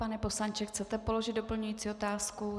Pane poslanče, chcete položit doplňující otázku?